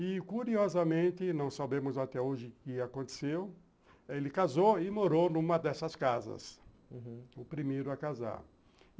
E, curiosamente, não sabemos até hoje o que aconteceu, ele casou e morou numa dessas casas, aham, o primeiro a casar.